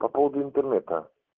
по поводу интернета